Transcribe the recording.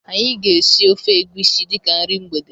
Anyị ga esi ofe egwisi dịka nri mgbede